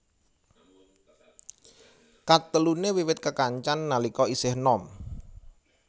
Kateluné wiwit kekancan nalika isih enom